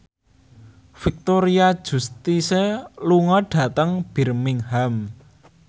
Victoria Justice lunga dhateng Birmingham